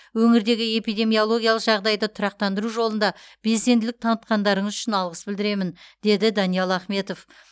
өңірдегі эпидемиологиялық жағдайды тұрақтандыру жолында белсенділік танытқандарыңыз үшін алғыс білдіремін деді даниал ахметов